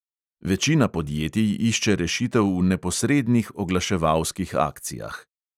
Večina podjetij išče rešitev v neposrednih oglaševalskih akcijah.